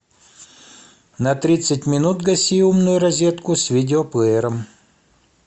на тридцать минут гаси умную розетку с видеоплеером